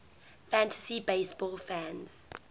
fantasy baseball fans